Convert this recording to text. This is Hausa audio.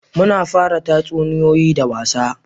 Muna fara tatsuniyoyi da wasa